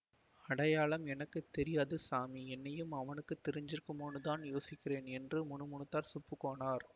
அடையாளம் எனக்கு தெரியாது சாமி என்னையும் அவனுக்கு தெரிஞ்சிருக்குமோன்னுதான் யோசிக்கிறேன் என்று முணுமுணுத்தான் சுப்புக் கோனார்